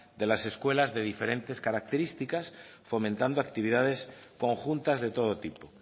de las escuelas de diferentes características fomentando actividades conjuntas de todo tipo